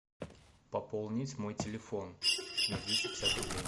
пополнить мой телефон на двести пятьдесят рублей